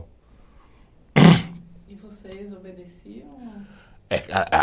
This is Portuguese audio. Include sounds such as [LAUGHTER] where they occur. [COUGHS] E vocês obedeciam? Eh [UNINTELLIGIBLE]